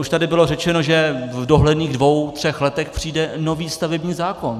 Už tady bylo řečeno, že v dohledných dvou třech letech přijde nový stavební zákon.